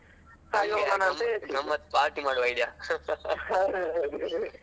ಅಲ್ಲಿ ಹೋಗಿ ಗಮ್ಮತ್ party ಮಾಡ್ವ ಅಂತೇಳಿಯಾ.